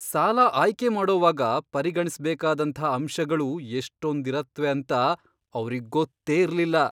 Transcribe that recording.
ಸಾಲ ಆಯ್ಕೆ ಮಾಡೋವಾಗ ಪರಿಗಣಿಸ್ಬೇಕಾದಂಥ ಅಂಶಗಳು ಎಷ್ಟೊಂದಿರತ್ವೆ ಅಂತ ಅವ್ರಿಗ್ ಗೊತ್ತೇ ಇರ್ಲಿಲ್ಲ!